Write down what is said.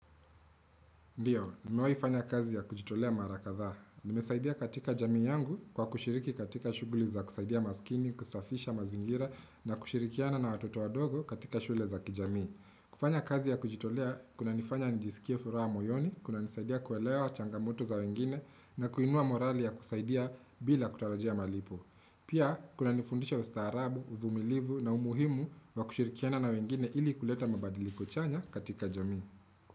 Ndiyo, nimewaifanya kazi ya kujitolea mara kadhaa. Nimesaidia katika jami yangu kwa kushiriki katika shughuli za kusaidia maskini, kusafisha mazingira na kushirikiana na watoto wadogo katika shule za kijami. Kufanya kazi ya kujitolea, kunanifanya njisikia furaha moyoni, kunanisaidia kuelewa changamoto za wengine na kuinua morali ya kusaidia bila kutarajia malipo. Pia, kuna nifundisha ustaarabu, uvumilivu na umuhimu wa kushirikiana na wengine ili kuleta mabadili kuchanya katika jami.